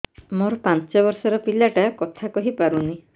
ମୋର ପାଞ୍ଚ ଵର୍ଷ ର ପିଲା ଟା କଥା କହି ପାରୁନି